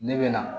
Ne bɛ na